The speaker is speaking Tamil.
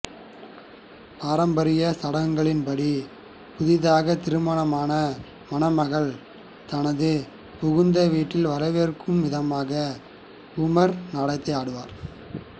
பாரம்பரிய சடங்குகளின் படி புதிதாக திருமணமான மணமகள் தனது புகுந்த வீட்டில் வரவேற்ககும் விதமாக கூமா் நடனத்தை ஆடுவா்